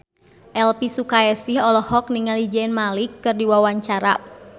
Elvi Sukaesih olohok ningali Zayn Malik keur diwawancara